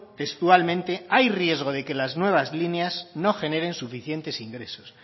textualmente hay riesgo de que las nuevas líneas no generen suficientes ingresos